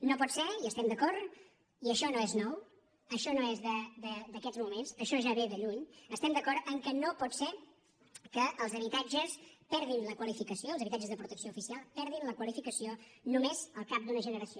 no pot ser hi estem d’acord i això no és nou això no és d’aquests moments això ja ve de lluny estem d’acord que no pot ser que els habitatges de protecció oficial perdin la qualificació només al cap d’una generació